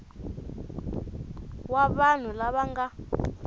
wa vanhu lava va nga